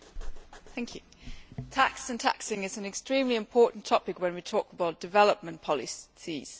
Mr President, tax and taxing is an extremely important topic when we talk about development policies.